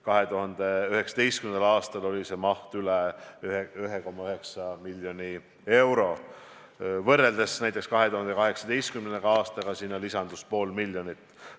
2019. aastal oli see maht üle 1,9 miljoni euro, võrreldes 2018. aastaga lisandus sinna pool miljonit.